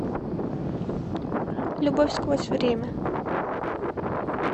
любовь сквозь время